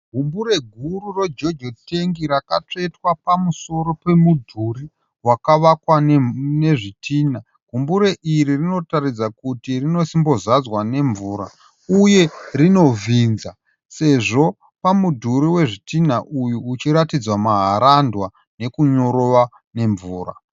Gumbure guru reJojo tengi rakatsvetwa pamusoro pemudhuri wakavakwa nezvitinha. Gumbure iri rinotaridza kuti rinosimbozadzwa nemvura uyezve rinovhinza sezvo pamudhuri wetinha uyu uchiratidza maharandwa nekunyorova nemvura.